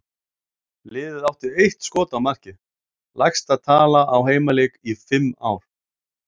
Liðið átti eitt skot á markið, lægsta tala á heimaleik í fimm ár.